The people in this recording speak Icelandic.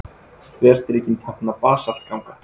Þverstrikin tákna basaltganga.